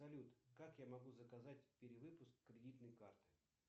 салют как я могу заказать перевыпуск кредитной карты